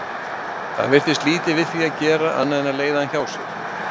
Það virtist lítið við því að gera annað en að leiða hann hjá sér.